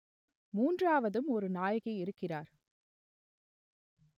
மூன்றாவதும் ஒரு நாயகி இருக்கிறார்